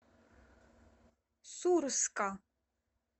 сурска